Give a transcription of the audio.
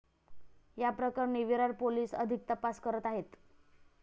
या प्रकरणी विरार पोलीस अधिक तपास करत आहेत.